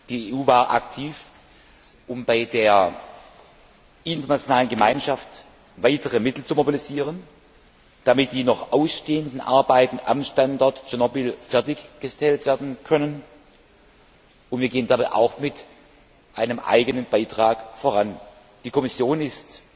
Die EU war aktiv, um bei der internationalen Gemeinschaft weitere Mittel zu mobilisieren, damit die noch ausstehenden Arbeiten am Standort Tschernobyl fertig gestellt werden können, und wir gehen dabei auch mit einem eigenen Beitrag voran. Die Kommission ist